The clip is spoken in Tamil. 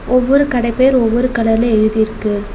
ஒவ்வொரு கட பேர் ஒவ்வொரு கலர்ல எழுதிருக்கு.